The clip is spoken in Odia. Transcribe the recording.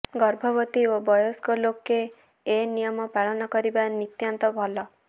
ଗର୍ଭବତୀ ଓ ବୟସ୍କ ଲୋକେ ଏଇ ନିୟମ ପାଳନ କରିବା ନିତାନ୍ତ ଭଲ